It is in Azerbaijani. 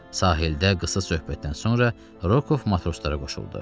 Sahildə qısa söhbətdən sonra Rokov matroslara qoşuldu.